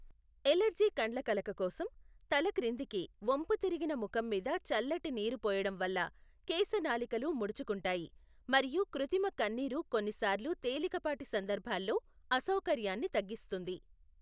Allergy కండ్లకలక కోసం, తల క్రిందికి వంపుతిరిగిన ముఖం మీద చల్లటి నీరు పోయడం వల్ల కేశనాళికలు ముడుచుకుంటాయి మరియు కృత్రిమ కన్నీరు కొన్నిసార్లు తేలికపాటి సందర్భాల్లో అసౌకర్యాన్ని తగ్గిస్తుంది.